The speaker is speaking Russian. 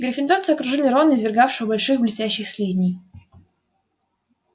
гриффиндорцы окружили рона извергавшего больших блестящих слизней